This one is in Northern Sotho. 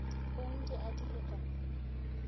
ong di adilwe ka mo